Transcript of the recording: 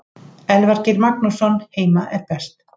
Elvar Geir Magnússon Heima er best.